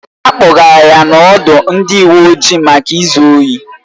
A kpọgara ya n'ọdụ ndị uwe ojii maka izu ohi